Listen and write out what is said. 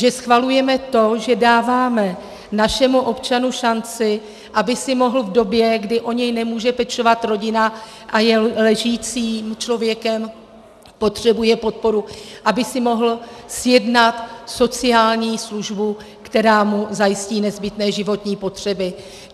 Že schvalujeme to, že dáváme našemu občanovi šanci, aby si mohl v době, kdy o něj nemůže pečovat rodina a je ležícím člověkem, potřebuje podporu, aby si mohl zjednat sociální službu, která mu zajistí nezbytné životní potřeby.